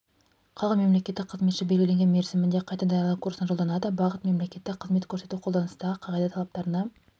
қалған мемлекеттік қызметші белгіленген мерзімінде қайта даярлау курсына жолданады бағыт мемлекеттік қызмет көрсету қолданыстағы қағида талаптарына